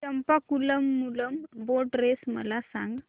Champakulam Moolam boat race मला सांग